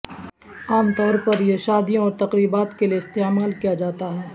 عام طور پر یہ شادیوں اور تقریبات کے لئے استعمال کیا جاتا ہے